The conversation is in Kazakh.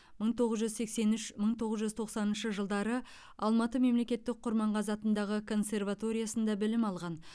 мың тоғыз жүз сексен үш мың тоғыз жүз тоқсаныншы жылдары алматы мемлекеттік құрманғазы атындағы консерваториясында білім алған